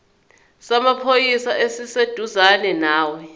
samaphoyisa esiseduzane nawe